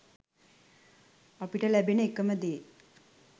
අපිට ලැබෙන එකම දේ